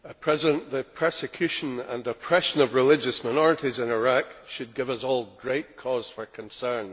Mr President, the persecution and oppression of religious minorities in Iraq should give us all great cause for concern.